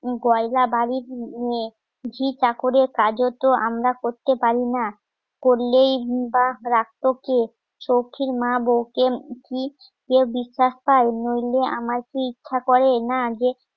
গয়না বাড়ির ঝি ঘিটা করে কাজ হতো আমরা করতে পারি না করলেই বা রাখতো কে? সখীর মা বৌকে কি কেউ বিশ্বাস করে নইলে আমার ইচ্ছা করে না যে